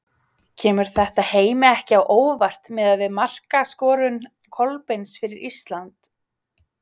Kemur þetta Heimi ekki á óvart miðað við markaskorun Kolbeins fyrir Ísland?